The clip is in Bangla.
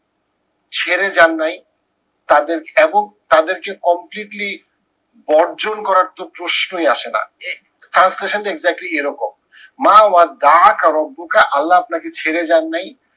ছেড়েযান নাই তাদের এবং তাদেরকে completely বর্জন করার তো প্রশ্নই আসে না। translation টা exactly এরকম। মা আল্লা আপনাকে ছেড়ে যান নাই